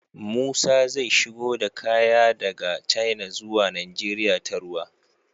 Musa zai shigo da kaya daka china zuwa nigeria ta ruwa